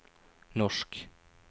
norsk